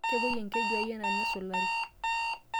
Kemwoi enkeju ai anaa nasulari.